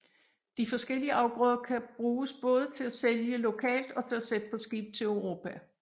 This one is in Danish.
De forskellige afgrøder kan bruges både til at sælge lokalt og til at sætte på skib til Europa